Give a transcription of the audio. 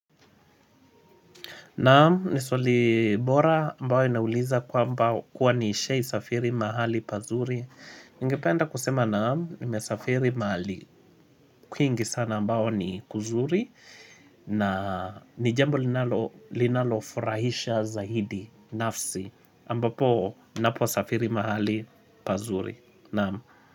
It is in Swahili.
Naam ni swalibora ambao inauliza kwamba kuwa nishai safiri mahali pazuri. Ningependa kusema naam nime safiri mahali kuingi sana ambao ni kuzuri na ni jambo linalofurahisha zahidi nafsi ambapo naposafiri mahali pazuri. Naam.